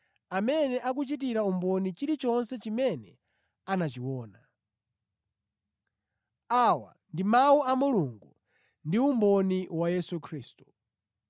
amene akuchitira umboni chilichonse chimene anachiona. Awa ndi Mawu a Mulungu ndi umboni wa Yesu Khristu.